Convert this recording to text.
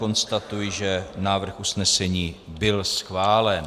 Konstatuji, že návrh usnesení byl schválen.